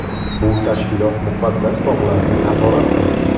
Bu tashkilot Muqaddas tog‘larni nazorat qiladi.